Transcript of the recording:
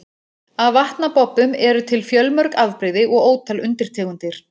Af vatnabobbum eru til fjölmörg afbrigði og ótal undirtegundir.